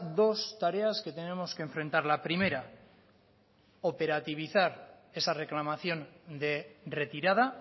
dos tareas que tenemos que enfrentar la primera operativizar esa reclamación de retirada